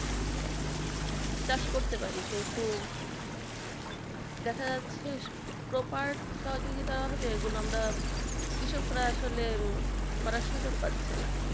চাষ করতে পারি কিন্তু দেখা যাচ্ছে proper সহযোগিতার অভাবে এগুলো আমরা কৃষকরা আসলে করার সুযোগ পাচ্ছে না